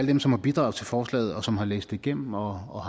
dem som har bidraget til forslaget og som har læst det igennem og